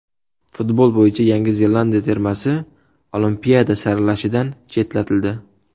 Futbol bo‘yicha Yangi Zelandiya termasi Olimpiada saralashidan chetlatildi.